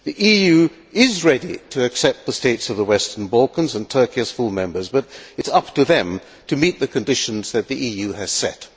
The EU is ready to accept the states of the western Balkans and Turkey as full members, but it is up to them to meet the conditions that the EU has set.